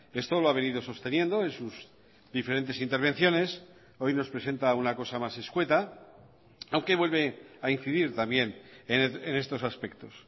esto lo ha venido sosteniendo en sus diferentes intervenciones hoy nos presenta una cosa más escueta aunque vuelve a incidir también en estos aspectos